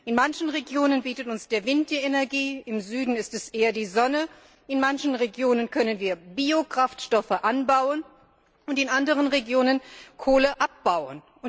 In manchen Regionen bietet uns der Wind die Energie, im Süden ist es eher die Sonne, in manchen Regionen können wir Biokraftstoffe anbauen und in anderen Regionen Kohle abbauen.